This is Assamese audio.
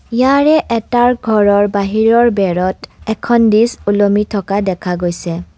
ইয়াৰে এটাৰ ঘৰৰ বাহিৰৰ বেৰত এখন ডিস্ক ওলমি থকা দেখা গৈছে।